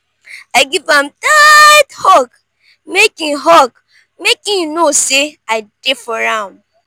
i give am tight hug make im hug make im know say i dey for am.